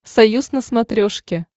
союз на смотрешке